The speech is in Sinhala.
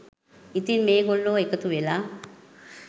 ඉතින් මේ ගොල්ලෝ එකතු වෙලා